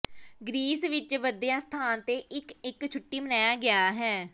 Greece ਵਿੱਚ ਵਧੀਆ ਸਥਾਨ ਦੇ ਇੱਕ ਇੱਕ ਛੁੱਟੀ ਮੰਨਿਆ ਗਿਆ ਹੈ